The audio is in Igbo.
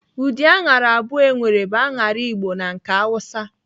Ụdị aṅara abụọ enwere bụ aṅara Igbo na nke Awusa.